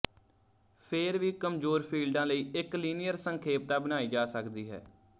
ਫੇਰ ਵੀ ਕਮਜੋਰ ਫੀਲਡਾਂ ਲਈ ਇੱਕ ਲੀਨੀਅਰ ਸੰਖੇਪਤਾ ਬਣਾਈ ਜਾ ਸਕਦੀ ਹੈ